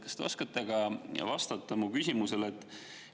Kas te oskate vastata ka minu küsimusele?